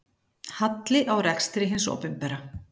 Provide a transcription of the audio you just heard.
Halli á rekstri hins opinbera